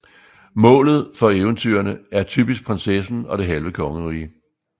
Målet for eventyrene er typisk prinsessen og det halve kongerige